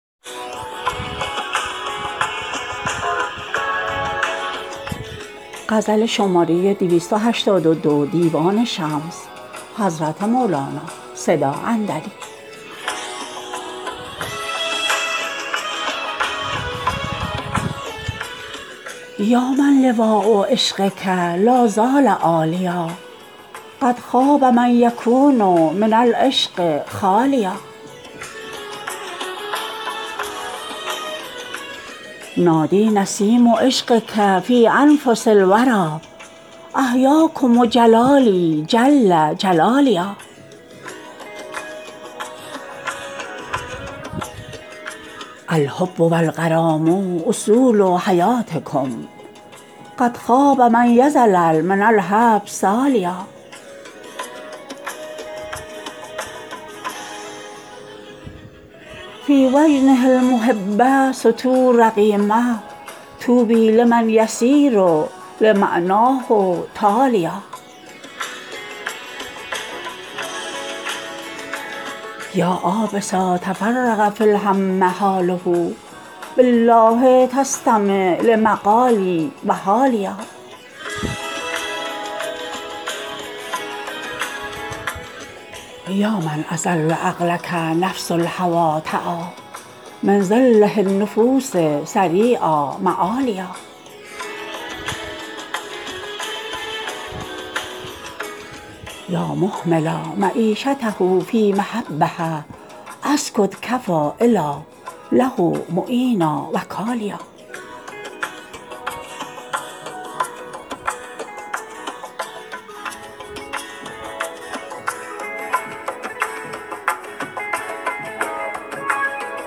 یا من لواء عشقک لا زال عالیا قد خاب من یکون من العشق خالیا نادی نسیم عشقک فی انفس الوری احیاکم جلالی جل جلالیا الحب و الغرام اصول حیاتکم قد خاب من یظلل من الحب سالیا فی وجنه المحب سطور رقیمه طوبی لمن یصیر لمعناه تالیا یا عابسا تفرق فی الهم حاله بالله تستمع لمقالی و حالیا یا من اذل عقلک نفس الهوی تعی من ذله النفوس سریعا معالیا یا مهملا معیشته فی محبه اسکت کفی الا له معینا وکالیا